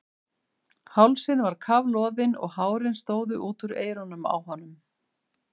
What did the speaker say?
Hálsinn var kafloðinn og hárin stóðu út úr eyrunum á honum.